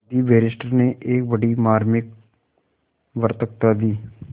वादी बैरिस्टर ने एक बड़ी मार्मिक वक्तृता दी